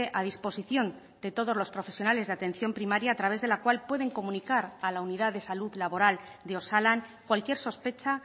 a disposición de todos los profesionales de atención primaria a través de la cual pueden comunicar a la unidad de salud laboral de osalan cualquier sospecha